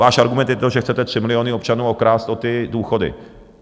Váš argument je to, že chcete 3 miliony občanů okrást o ty důchody.